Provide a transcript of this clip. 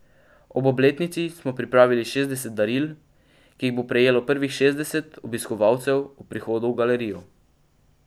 Ob obletnici smo pripravili šestdeset daril, ki jih bo prejelo prvih šestdeset obiskovalcev ob prihodu v galerijo.